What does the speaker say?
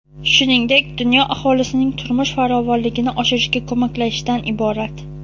shuningdek dunyo aholisining turmush farovonligini oshirishga ko‘maklashishdan iborat.